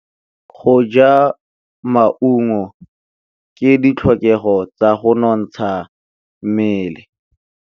Go ja maungo ke ditlhokegô tsa go nontsha mmele.